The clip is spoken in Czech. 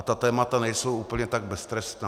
A ta témata nejsou úplně tak beztrestná.